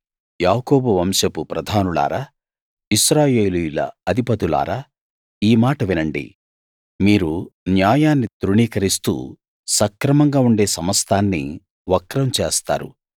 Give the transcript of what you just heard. యాకోబు వంశపు ప్రధానులారా ఇశ్రాయేలీయుల అధిపతులారా ఈ మాట వినండి మీరు న్యాయాన్ని తృణీకరిస్తూ సక్రమంగా ఉండే సమస్తాన్నీ వక్రం చేస్తారు